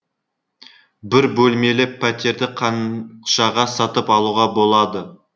бір бөлмелі пәтерді қаншаға сатып алуға болады